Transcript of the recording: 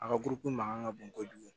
A ka kurukun mankan ka bon kojugu